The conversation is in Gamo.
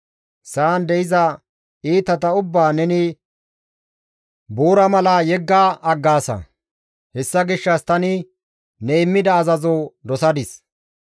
Sa7an de7iza iitata ubbaa neni buura mala yegga aggaasa; hessa gishshas tani ne immida azazo dosadis.